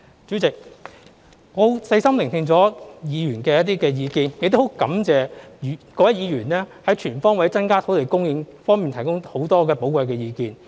主席，我細心聆聽了議員的一些意見，亦感謝各位議員就"全方位增加土地供應"方面提供許多寶貴的意見。